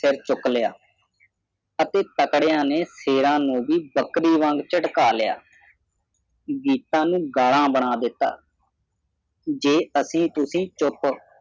ਸਿਰ ਚੁੱਕ ਲਿਆ ਅਤੇ ਤਗੜੀਆਂ ਨੇ ਸ਼ੇਰਾਂ ਨੂੰ ਵੀ ਬੱਕਰੇ ਵਾਂਗ ਝਟਕਾ ਲਿਆ ਗੀਤਾਂ ਨੁੰ ਗਾਲਾਂ ਬਣਾ ਦਿੱਤਾ ਜੇ ਅਸੀਂ ਤੁਸੀਂ ਚੁੱਪ